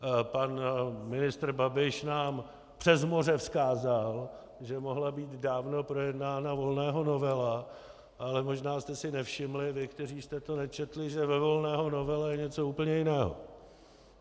Pan ministr Babiš nám přes moře vzkázal, že mohla být dávno projednána Volného novela, ale možná jste si nevšimli, vy, kteří jste to nečetli, že ve Volného novele je něco úplně jiného.